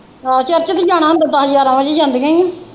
ਆਹੋ church ਵੀ ਜਾਣਾ ਹੁੰਦਾ ਹੈ ਦਸ ਗਿਆਰਾਂ ਵਜੇ ਜਾਂਦੀਆਂ ਹੀ।